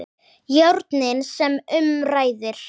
Járnin sem um ræðir.